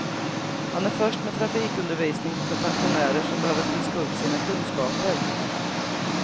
Han är först med trafikundervisning för pensionärer som behöver friska upp sina kunskaper.